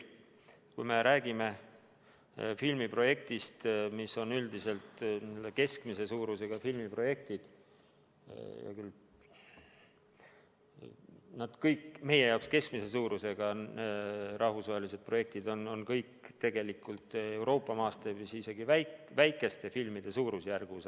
Kui me räägime filmiprojektist, mis on keskmise suurusega – tegelikult kõik meie jaoks keskmise suurusega rahvusvahelised projektid on Euroopa mastaabis üldiselt väikeste filmide suurusjärgus.